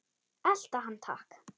Elta hann takk!